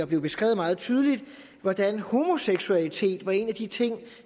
blev beskrevet meget tydeligt hvordan homoseksualitet var en af de ting